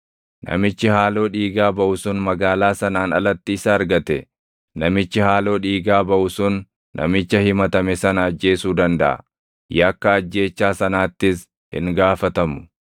namichi haaloo dhiigaa baʼu sun magaalaa sanaan alatti isa argate, namichi haaloo dhiigaa baʼu sun namicha himatame sana ajjeesuu dandaʼa; yakka ajjeechaa sanaattis hin gaafatamu.